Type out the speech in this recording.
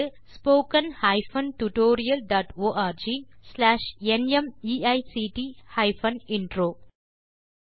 spoken hyphen tutorial dot org slash NMEICT hyphen intro மூல பாடம் Desi Crew solutions